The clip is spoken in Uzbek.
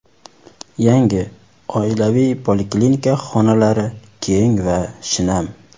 Yangi oilaviy poliklinika xonalari keng va shinam.